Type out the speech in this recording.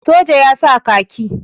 soja ya sa kaki